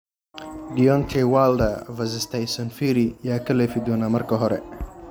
Deontay Wilder vs. Tyson Fury, yaa ka leefi doona marka hore?